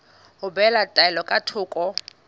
ho behela taelo ka thoko